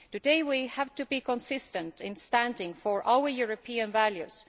Today we have to be consistent in standing for our European values.